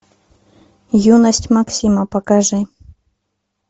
юность максима покажи